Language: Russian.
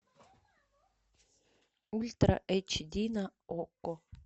ультра эйч ди на окко